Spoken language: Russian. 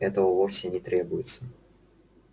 этого вовсе не требуется